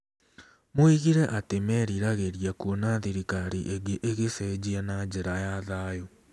Moigire atĩ meriragĩria "kũona thirikari ĩngĩ ĩgĩcenjia na njĩra ya thayũ".